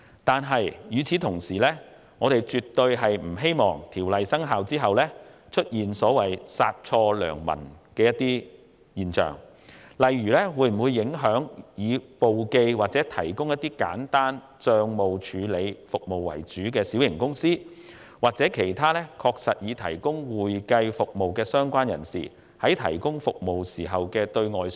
但是，與此同時，我們絕不希望《條例草案》生效後，會出現殺錯良民的情況，例如以提供簿記及簡單帳務處理服務為主的小型公司，以及其他確實提供會計服務的相關人士，在對外宣傳時會否受到影響？